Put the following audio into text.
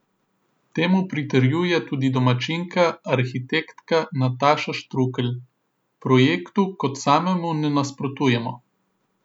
Temu pritrjuje tudi domačinka, arhitektka Nataša Štrukelj: "Projektu kot samemu ne nasprotujemo.